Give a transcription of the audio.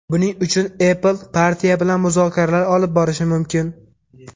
Buning uchun Apple partiya bilan muzokaralar olib borishi mumkin.